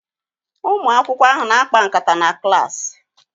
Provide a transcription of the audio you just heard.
Ụmụ akwụkwọ ahụ na-akpa nkata na klaasị